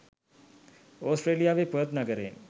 ඔස්ට්‍රේලියාවේ ‘Perth’ නගරයෙන්